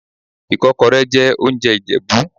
Ìkọ́kọrẹ́ jẹ́ oúnjẹ Ìjẹ̀bú.